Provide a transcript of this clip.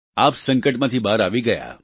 આપ સંકટમાંથી બહાર આવી ગયા